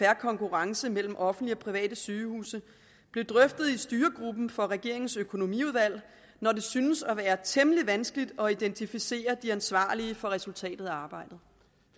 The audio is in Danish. fair konkurrence mellem offentlige og private sygehuse blev drøftet i styregruppen for regeringens økonomiudvalg når det synes at være temmelig vanskeligt at identificere de ansvarlige for resultatet af arbejdet